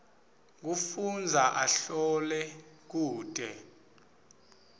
kufundza ahlole kute